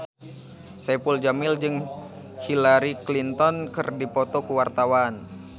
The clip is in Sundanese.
Saipul Jamil jeung Hillary Clinton keur dipoto ku wartawan